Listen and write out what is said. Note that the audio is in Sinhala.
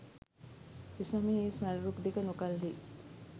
එසමයෙහි ඒ සල් රුක් දෙක නොකල්හී